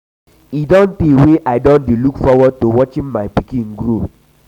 e don tey wey i don dey look forward to watching my pikin grow.